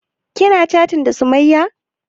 Kina chatin da sumayya?